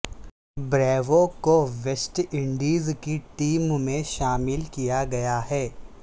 Bravo کو West Indies کی team میں شامل کیا گیا ہے